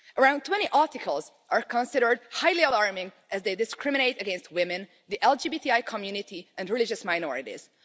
Around 20 articles are considered highly alarming, as they discriminate against women, the LGBTI community and religious minorities.